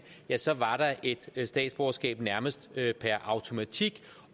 ja så var der et statsborgerskab nærmest per automatik